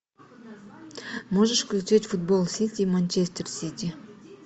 можешь включить футбол сити и манчестер сити